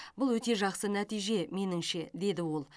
бұл өте жақсы нәтиже меніңше деді ол